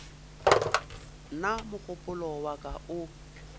nna mogopolo wa ka o